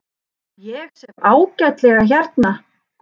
Ég sef ágætlega hérna.